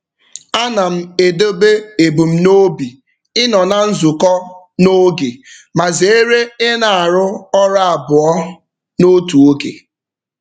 Ana m edobe ebumnobi ịnọ na nzukọ n'oge ma zeere I na-arụ ọrụ abụọ n'otu oge.